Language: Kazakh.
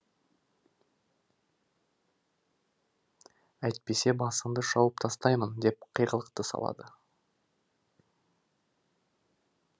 әйтпесе басыңды шауып тастаймын деп қиғылықты салады